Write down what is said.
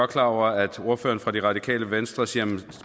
klar over at ordføreren for det radikale venstre siger